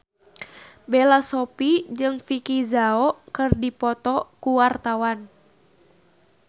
Bella Shofie jeung Vicki Zao keur dipoto ku wartawan